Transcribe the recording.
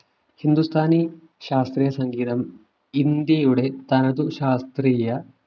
ഹിന്ദുസ്ഥാനി ശാസ്ത്രീയ സംഗീതം ഇന്ത്യയുടെ തനത് ശാസ്ത്രീയ